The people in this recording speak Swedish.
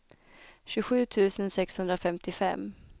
tjugosju tusen sexhundrafemtiofem